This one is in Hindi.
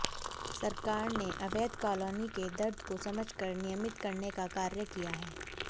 सरकार ने अवैध कॉलोनी के दर्द को समझ कर नियमित करने का कार्य किया है